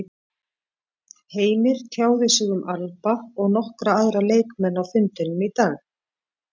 Heimir tjáði sig um Alba og nokkra aðra leikmenn á fundinum í dag.